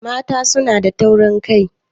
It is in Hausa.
Mata suna da taurin kai